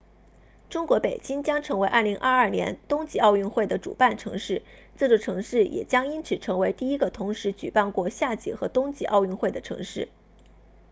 中国北京将成为2022年冬季奥运会的主办城市这座城市也将因此成为第一个同时举办过夏季和冬季奥运会的城市